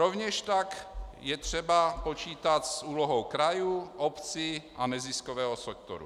Rovněž také je třeba počítat s úlohou krajů, obcí a neziskového sektoru.